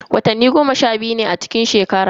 Watanni goma sha biyu ne a cikin shekara.